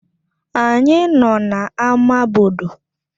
Anyị nọ na ámá bodo